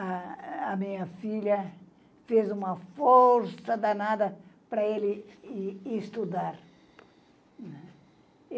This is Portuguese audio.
A minha filha fez uma força danada para ele ir estudar.